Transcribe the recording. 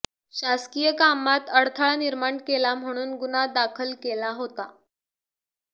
शासकीय कामात अडथळा निर्माण केला म्हणून गुन्हा दाखल केला होता